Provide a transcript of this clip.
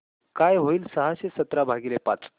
काय होईल सहाशे सतरा भागीले पाच